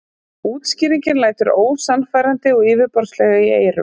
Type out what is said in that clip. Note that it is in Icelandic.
Útskýringin lætur ósannfærandi og yfirborðslega í eyrum.